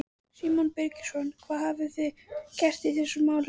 Símon Birgisson: Hvað hafið þið gert í þessum máli?